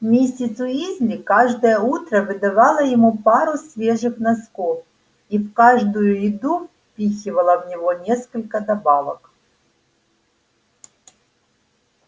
миссис уизли каждое утро выдавала ему пару свежих носков и в каждую еду впихивала в него несколько добавок